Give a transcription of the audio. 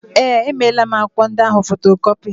Ee, emeela m akwụkwọ ndị ahụ fotokọpi.